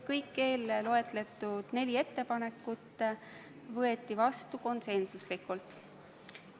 Kõik eelloetletud neli ettepanekut võeti vastu konsensuslikult.